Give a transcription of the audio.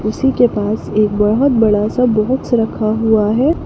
उसी के पास एक बहुत बड़ा सा बाक्स रखा हुआ है।